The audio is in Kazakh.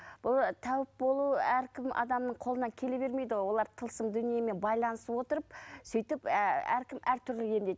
бұл тәуіп болу әркімнің адамның қолынан келе бермейді ғой олар тылсым дүниемен байланыса отырып сөйтіп әркім әртүрлі емдейді